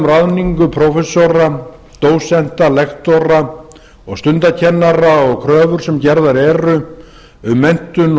ráðningu prófessora dósenta lektora og stundakennara og kröfur sem gerðar eru um menntun